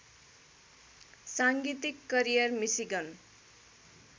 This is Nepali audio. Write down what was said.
साङ्गीतिक करियर मिसिगन